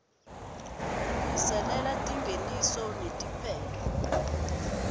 lungiselela tingeniso netiphetfo